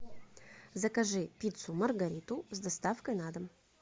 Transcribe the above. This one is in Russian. закажи пиццу маргариту с доставкой на дом